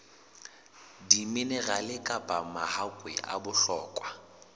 diminerale kapa mahakwe a bohlokwa